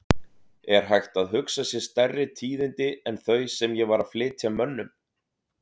Er hægt að hugsa sér stærri tíðindi en þau sem ég var að flytja mönnum?!